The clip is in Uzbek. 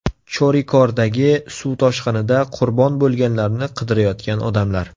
Chorikordagi suv toshqinida qurbon bo‘lganlarni qidirayotgan odamlar.